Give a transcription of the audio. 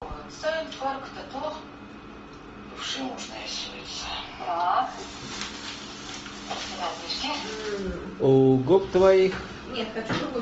у губ твоих